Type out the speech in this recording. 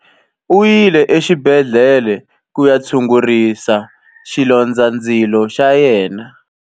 U yile exibedhlele ku ya tshungurisa xilondzandzilo xa yena.